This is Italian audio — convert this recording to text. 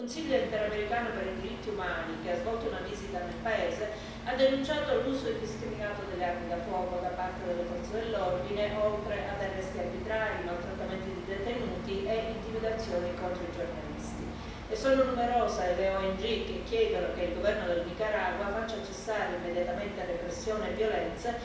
Il Consiglio interamericano per i diritti umani, che ha svolto una visita nel paese, ha denunciato l'uso indiscriminato delle armi da fuoco da parte delle forze dell'ordine, oltre ad arresti arbitrari, maltrattamenti di detenuti e intimidazioni contro i giornalisti, e sono numerose le ONG che chiedono che il governo del Nicaragua faccia cessare immediatamente repressioni e violenze,